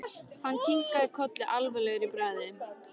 Hann kinkaði kolli alvarlegur í bragði.